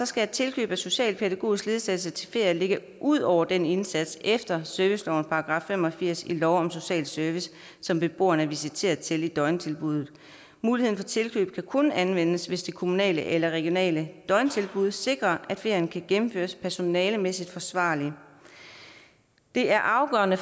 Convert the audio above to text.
skal tilkøb af socialpædagogisk ledsagelse til ferier ligge ud over den indsats efter servicelovens § fem og firs i lov om social service som beboeren er visiteret til i døgntilbuddet muligheden for tilkøb kan kun anvendes hvis det kommunale eller regionale døgntilbud sikrer at ferien kan gennemføres personalemæssigt forsvarligt det er afgørende